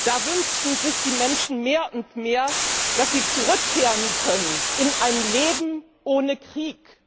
Da wünschen sich die Menschen mehr und mehr, dass sie zurückkehren können in ein Leben ohne Krieg.